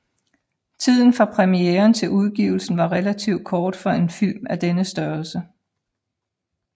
Tiden fra premieren til udgivelsen var relativt kort for en film af denne størrelse